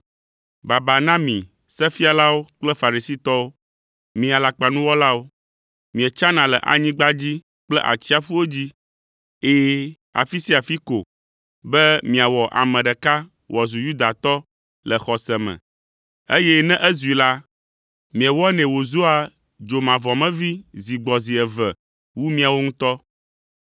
“Baba na mi, mi Sefialawo kple Farisitɔwo, mi alakpanuwɔlawo! Mietsana le anyigba dzi kple atsiaƒuwo dzi, ɛ̃, afi sia afi ko be miawɔ ame ɖeka wòazu Yudatɔ le xɔse me, eye ne ezui la, miewɔnɛ wòzua dzomavɔmevi zi gbɔ zi eve wu miawo ŋutɔ.